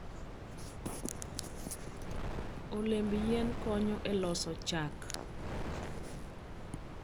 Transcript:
Olemb yien konyo e loso chak.